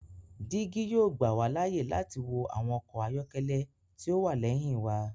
Digi yoo gbà wa láàyè láti wo awọn ọkọ ayọkẹlẹ ti o wá lẹhin wà